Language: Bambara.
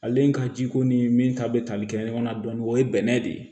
Ale ka jiko ni min ta bɛ tali kɛ ɲɔgɔn na dɔɔni o ye bɛnɛ de ye